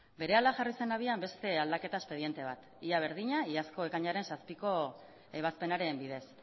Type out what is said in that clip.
berehala jarri zen abian beste aldaketa espedientea ia berdina iazko ekainaren zazpiko ebazpenaren bidez